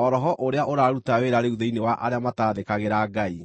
o roho ũrĩa ũraruta wĩra rĩu thĩinĩ wa arĩa mataathĩkagĩra Ngai.